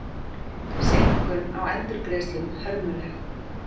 Seinkun á endurgreiðslum hörmuleg